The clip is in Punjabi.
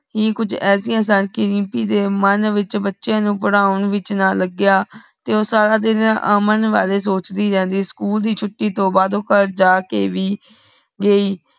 ਈ ਕੁਛ ਐਸੀ ਅਸਾਂਕੀ ਰੀਪਮੀ ਦੇ ਮਨ ਵਿਚ ਬਚੇ ਨੂੰ ਪੜ੍ਹਾਉਣ ਵਿਚ ਨਾ ਲਗਿਆ ਤੇ ਊ ਸਾਰਾ ਦਿਨ ਅਮਨ ਵਾਰੇ ਸੋਚ ਦੀ ਰੇਹੰਦੀ ਸਕੂਲ ਦੀ ਛੁਟੀ ਤੋਂ ਬਾਦ ਓ ਘਰ ਜਾਕੇ ਭੀ ਗੇਈ